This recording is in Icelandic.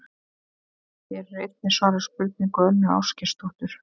Hér er einnig svarað spurningu Önnu Ásgeirsdóttur: